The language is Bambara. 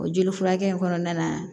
O jeli furakɛ in kɔnɔna na